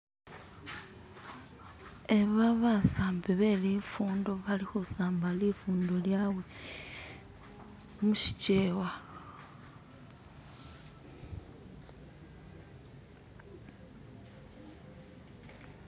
Aba basambi be bifundo bali khusamba lifundo lyabwe mushikyewa.